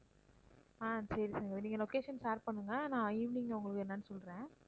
ஆஹ் சரி சங்கவி நீங்க location share பண்ணுங்க நான் evening உங்களுக்கு என்னன்னு சொல்றேன்